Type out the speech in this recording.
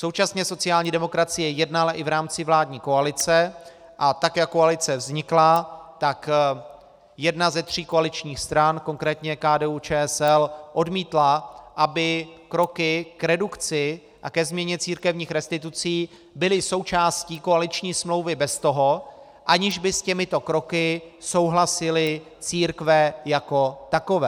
Současně sociální demokracie jednala i v rámci vládní koalice, a tak jak koalice vznikla, tak jedna ze tří koaličních stran, konkrétně KDU-ČSL, odmítla, aby kroky k redukci a ke změně církevních restitucí byly součástí koaliční smlouvy bez toho, aniž by s těmito kroky souhlasily církve jako takové.